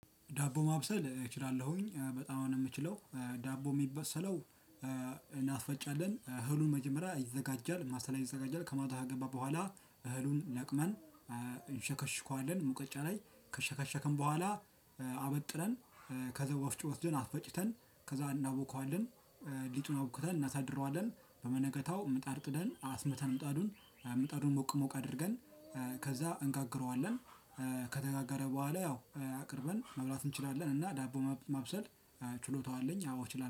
ዳቦ ማብሰል እችላለሁኝ በጣም ነው የምችለው ዳቦ የሚበሰለው። እናስፈጫለን እህሉን መጀመሪያ ይዘጋጃል ማሳ ላይ ይዘጋጃል። ከማታው ከገባ በኋላ እህሉን ለቅመን። እንሸከሽካለን ሙቀጫ ላይ ከሸከሸከም በኋላ አበጥረን። ከዛ ወፍጭ ወስደን አፈጭተን ከዛ እናቦከዋለን። ሊጡን አቡክተን እናሳድረዋለን በመነገታው ምጣድ ጥደን አስመተን ምጣዱን ምጣዱን ሞቅ ሞቅ አድርገን ከዛ እንጋግረዋለን። ከተጋጋረ በኋላ ያው አቅርበን መብላት እንችላለን እና ዳቦ ማብሰል። ችሎታው አለኝ አዎ እችላለሁ